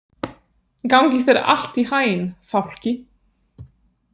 Gangi þér allt í haginn, Fálki.